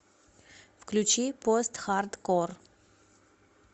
включи постхардкор